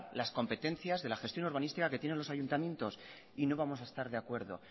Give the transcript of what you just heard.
las competencias de la gestión urbanística que tienen los ayuntamientos y no vamos a estar de acuerdo